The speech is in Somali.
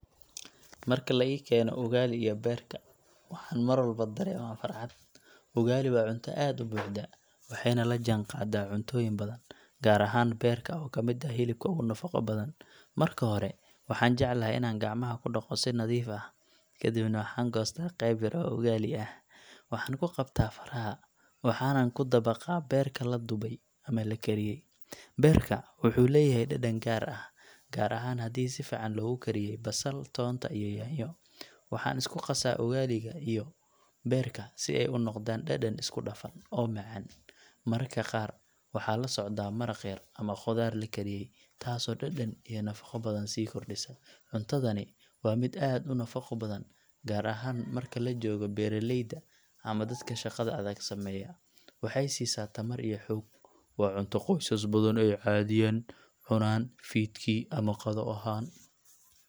Marka la i keeno ugali iyo beerka, waxaan mar walba dareemaa farxad. Ugali waa cunto aad u buuxda, waxayna la jaanqaadaa cuntooyin badan, gaar ahaan beerka oo ka mid ah hilibka ugu nafaqo badan. Marka hore, waxaan jeclahay inaan gacmaha ku dhaqo si nadiif ah, kadibna waxaan goostaa qayb yar oo ugali ah, waxaan ku qabtaa faraha, waxaanan ku dabaqaa beerka la dubay ama la kariyay. Beerka wuxuu leeyahay dhadhan gaar ah, gaar ahaan haddii si fiican loogu kariyay basal, toonta iyo yaanyo. Waxaan isku qasaa ugali-ga iyo beerka si ay u noqdaan dhadhan isku dhafan, oo macaan. Mararka qaar, waxaa la socda maraq yar ama khudaar la kariyay, taasoo dhadhan iyo nafaqo badan sii kordhisa. Cuntadani waa mid aad u nafaqo badan, gaar ahaan marka la joogo beeraleyda ama dadka shaqada adag sameeya, waxay siisaa tamar iyo xoog. Waa cunto qoysas badan ay caadiyan cunaan fiidkii ama qado ahaan.